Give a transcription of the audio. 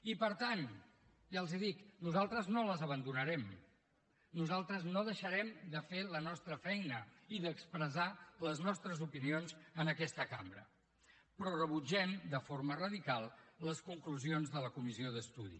i per tant ja els ho dic nosaltres no les abandonarem nosaltres no deixarem de fer la nostra feina i d’expressar les nostres opinions en aquesta cambra però rebutgem de forma radical les conclusions de la comissió d’estudi